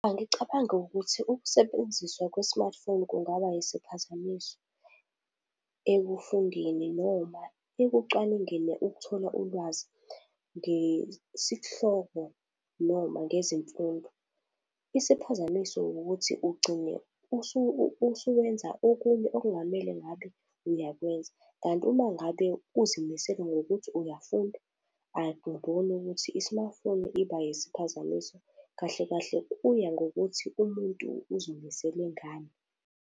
Angicabangi ukuthi ukusebenziswa kwe-smartphone kungaba isiphazamiso, ekufundeni noma ekucwaningeni ukuthola ulwazi ngesihloko noma ngezemfundo. Isiphazamiso ukuthi ugcine usuwenza okunye okungamele ngabe uyakwenza. Kanti uma ngabe uzimisele ngokuthi uyafunda, angiboni ukuthi i-smartphone iba yisiphazamiso. Kahle kahle, kuya ngokuthi umuntu uzimisele ngani.